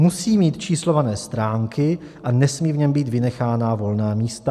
Musí mít číslované stránky a nesmí v něm být vynechána volná místa.